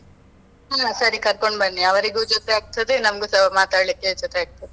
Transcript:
ಹಾ ಸರಿ ಕರ್ಕೊಂಡ್ ಬನ್ನಿ, ಅವ್ರಿಗೂ ಜೊತೆ ಆಗ್ತದೆ, ನಮ್ಗೂಸ ಮಾತಾಡ್ಲಿಕ್ಕೆ ಜೊತೆ ಆಗ್ತದೆ.